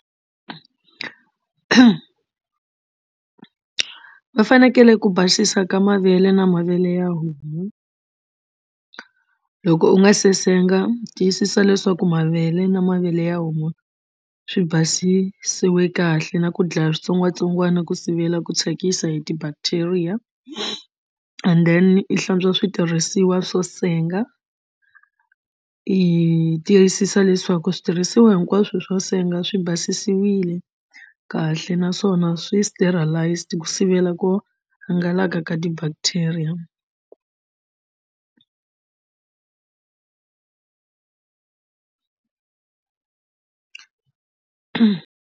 Va fanekele ku basisa ka mavele na mavele ya homu loko u nga se senga u tiyisisa leswaku mavele na mavele ya homu swi basisiwile kahle na ku dlaya switsongwatsongwana ku sivela ku thyakisa hi ti-bacteria and then i hlantswa switirhisiwa swo senga i tiyisisa leswaku switirhisiwa hinkwaswo swo senga swi basisiwile kahle naswona swi sterilised ku sivela ku hangalaka ka ti-bacteria.